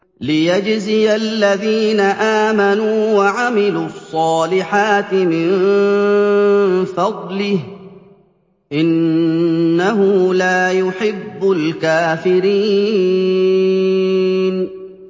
لِيَجْزِيَ الَّذِينَ آمَنُوا وَعَمِلُوا الصَّالِحَاتِ مِن فَضْلِهِ ۚ إِنَّهُ لَا يُحِبُّ الْكَافِرِينَ